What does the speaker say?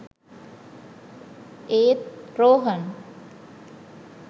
ඒත් රෝහන්